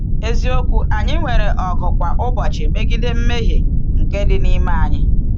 Eziokwu, anyị nwere ọgụ kwa ụbọchị megide mmehie nke dị n’ime anyị.